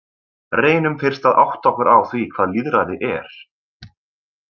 Reynum fyrst að átta okkur á því hvað lýðræði er.